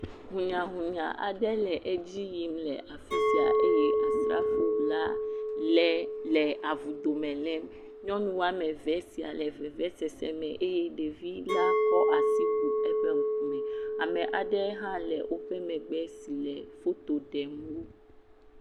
Hunyahunya aɖe le edzi yim le afi sia eye asrafo la le le avu dome la le nyɔnu woame eve sia le vevesese me eye ɖevi la kɔ asi bu eƒe ŋkume. Ame aɖe hã le woƒe megbe si le foto ɖem wo.